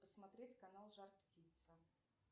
посмотреть канал жар птица